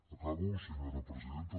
acabo senyora presidenta